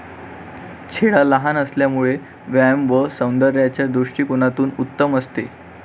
छेडा लहान असल्यामुळे व्यायाम व सौन्दर्याच्या दृष्टिकोनातून उत्तम असते.